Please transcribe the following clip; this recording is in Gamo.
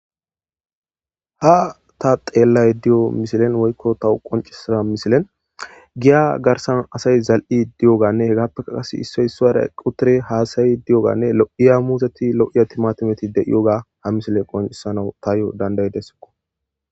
Ha ta xeellay di'o misilen woykko tawu qoncisira misilen giya garsan asay zal'i di'oganne hegaappeka kase issoy isuaray qutire haasayi di'oganne muuzeti lo'iya timatimeti de iyoga ha misile qoncisana tayo dandayidessikko.